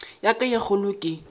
ya ka ye kgolo ke